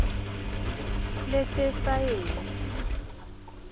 letesayensi